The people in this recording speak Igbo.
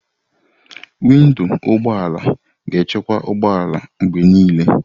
Windo ụgbọ ala ga-echekwa ụgbọ ala mgbe niile.